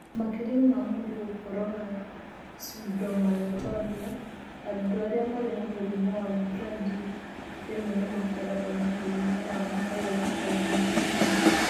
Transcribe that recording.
Makĩria ma mũndũ gũkorũo na pseudomyotonia, andũ arĩa marĩ na mũrimũ wa Brody rĩmwe nĩ makoragwo na mũrimũ wa myoglobinuria.